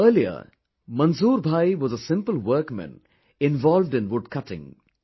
Earlier, Manzoor bhai was a simple workman involved in woodcutting